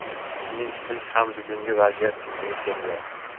Shuning uchun ham bugungi vaziyat yuzaga kelgan.